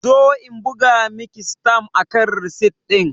Zo in buga Miki sitam akan risit din!